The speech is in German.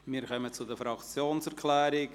Wir kommen zu den Fraktionserklärungen.